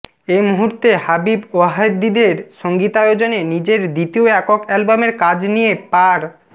এ মুহূর্তে হাবিব ওয়াহীদের সঙ্গীতায়োজনে নিজের দ্বিতীয় একক অ্যালবামের কাজ নিয়ে পার